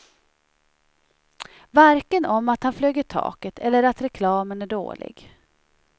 Varken om att han flög i taket eller att reklamen är dålig.